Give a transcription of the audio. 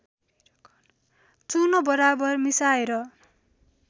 चूर्ण बराबर मिसाएर